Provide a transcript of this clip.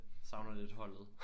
Savner lidt holdet